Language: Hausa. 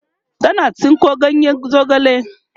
tana tsinko ganyen zogale